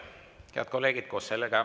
Head kolleegid!